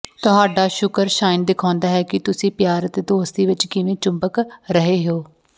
ਤੁਹਾਡਾ ਸ਼ੁੱਕਰ ਸਾਈਨ ਦਿਖਾਉਂਦਾ ਹੈ ਕਿ ਤੁਸੀਂ ਪਿਆਰ ਅਤੇ ਦੋਸਤੀ ਵਿਚ ਕਿਵੇਂ ਚੁੰਬਕ ਰਹੇ ਹੋ